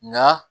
Nka